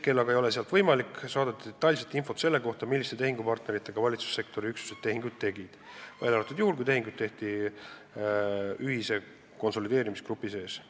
Praegu ei ole sealt aga võimalik saada detailset infot selle kohta, milliste partneritega valitsussektori üksused tehinguid tegid, välja arvatud juhul, kui tehingud tehti ühise konsolideerimisgrupi sees.